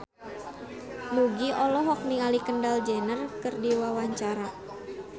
Nugie olohok ningali Kendall Jenner keur diwawancara